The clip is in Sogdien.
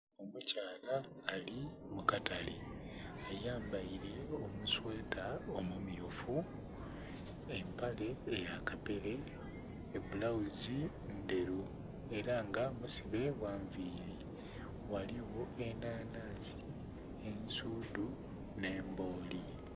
Omukyala ali mu katale ayambaire omusweta omu myufu empale ya kapere ebulaghuzi ndheru era nga musibe gha nviri, ghaligho enanhansi, ensuudhu nhe embooli.